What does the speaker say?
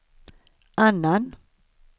annan